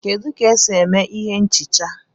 kedu ka e si eme ihé nchicha?